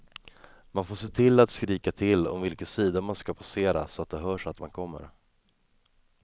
Man får se till att skrika till om vilken sida man ska passera så att det hörs att man kommer.